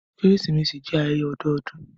Keresimesi jẹ ayẹyẹ ọdọọdun.